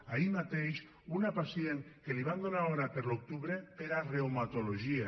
ahir mateix una pacient que li van donar hora per a l’octubre per a reumatologia